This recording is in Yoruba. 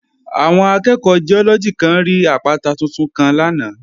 Àwọn akẹ́ẹ̀kọ́ Giọ́lọ́gì kan rí àpáta tuntun kan lánàá